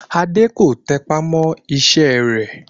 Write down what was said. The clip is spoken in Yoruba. Adé kò tẹpá mọ́ iṣẹ́ rẹ̀